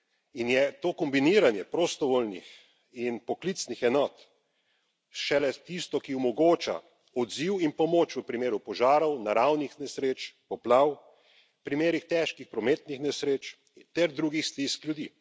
In je to kombiniranje prostovoljnih in poklicnih enot šele tisto, ki omogoča odziv in pomoč v primeru požarov, naravnih nesreč, poplav, primerih težkih prometnih nesreč ter drugih stisk ljudi.